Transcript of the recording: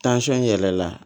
yɛlɛla